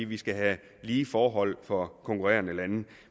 vi skal have lige forhold for konkurrerende lande